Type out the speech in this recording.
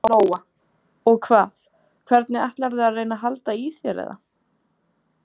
Lóa: Og hvað, hvernig ætlarðu að reyna að halda í þér eða?